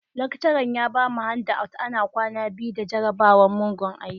Lecturer ya bamu handouts ana kwana biyu da jarabawan, mugun aiki.